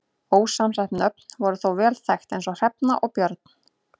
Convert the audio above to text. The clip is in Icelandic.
Ósamsett nöfn voru þó vel þekkt eins og Hrefna og Björn.